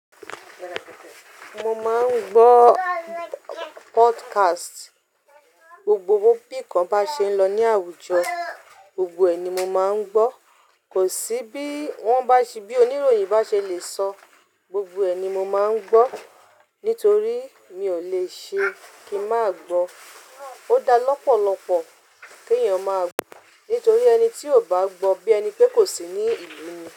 Mo máa ń gbọ́ podcast. Gbogbo bí kan bá ṣe ń lọ ní àwùjọ, gbogbo ẹ̀ ni mo máa ń gbọ́. Kò sí bí wọ́n bá ṣe bí oníròyìn bá ṣe lè sọ, gbogbo ẹ̀ ni mo máa ń gbọ́ nítorí mi ò lè ṣe kí máà gbọ́. Ó da lọ́pọ̀lọpọ̀ kí èèyàn máa gbọ́, nítorí ẹni tí ò bá gbọ́ bí ẹni pé kò sí ní ìlú ni.